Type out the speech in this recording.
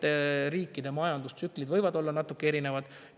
Erinevate riikide majandustsüklid võivad olla natuke erinevad.